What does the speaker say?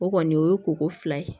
O kɔni o ye koko fila ye